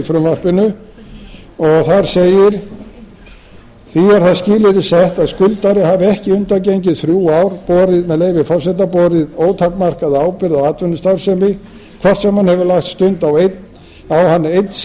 frumvarpinu þar segir því er það skilyrði sett að skuldari hafi ekki undangengin þrjú ár með leyfi forseta borið ótakmarkaða ábyrgð á atvinnustarfsemi hvort sem hann hefur lagt stund á hann einn síns liðs